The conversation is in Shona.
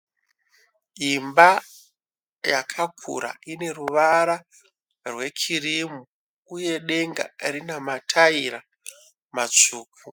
Imba yakakura ine ruvara rwe kirimu, uye denga rina mataira matsvuku.